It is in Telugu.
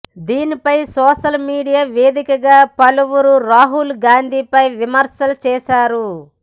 దీనిపై సోషల్ మీడియా వేదికగా పలువురు రాహుల్ గాంధీపై విమర్శలు చేశారు